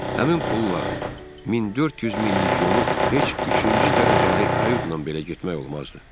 Həmin pulla 1400 minlik yolu heç üçüncü dərəcəli kayutla belə getmək olmazdı.